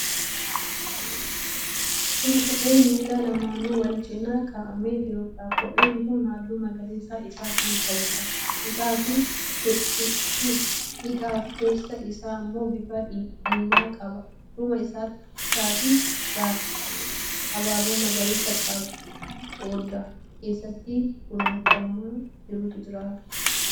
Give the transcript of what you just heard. Kun kophee miila lamaanuu wal cina kaa'amee jiruudha. Kopheen kun halluu magariisa ifaa kan qabuudha. Hidhaafi keessa isaa immoo bifa diimaa qaba. Duuba isaatiin abaaboo magariisa qodaa keessatti kunuunfamaa jirutu jira.